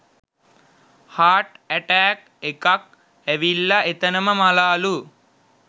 heart attack එකක් අවිල්ල එතනම මලාලු